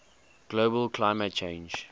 global climate change